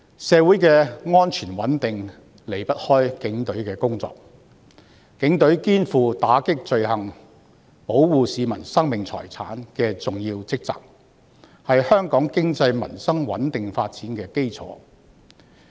社會的安全穩定離不開警隊的工作，警隊肩負打擊罪行及保護市民生命財產的重要職責，是香港經濟、民生穩定發展的基礎。